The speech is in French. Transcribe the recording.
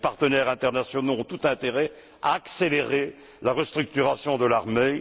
Les partenaires internationaux ont tout intérêt à accélérer la restructuration de l'armée.